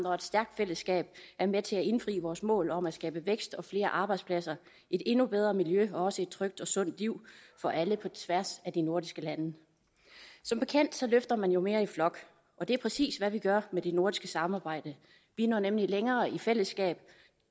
og et stærkt fællesskab er med til at indfri vores mål om at skabe vækst og flere arbejdspladser et endnu bedre miljø og også et trygt og sundt liv for alle på tværs af de nordiske lande som bekendt løfter man jo mere i flok og det er præcis hvad vi gør med det nordiske samarbejde vi når nemlig længere i fællesskab